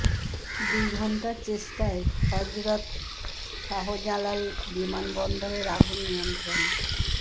দুই ঘন্টার চেষ্টায় হযরত শাহজালাল বিমান বন্দরের আগুন নিয়ন্ত্রণে